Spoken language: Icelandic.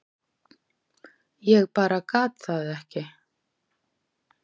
Ég bara gat það ekki.